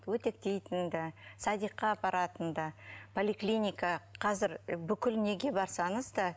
үтіктейтін да садикқа апаратын да поликлиника қазір бүкіл неге барсаңыз да